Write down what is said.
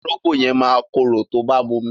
Orógbó yẹn máa korò tó bá momi.